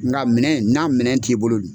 Nga minɛn n'a minɛn t'i bolo